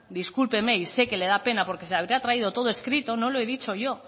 discúlpeme y sé que le da pena porque se habrá traído todo escrito no lo he dicho yo